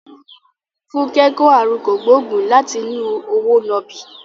Funke kò àrùn kògbóògùn láti inú òwò nàbì.